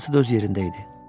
Hamısı da öz yerində idi.